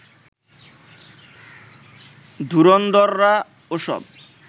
ধুরন্দররা ওসব